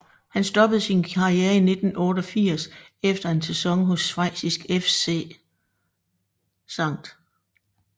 Han stoppede sin karriere i 1988 efter en sæson hos schweiziske FC St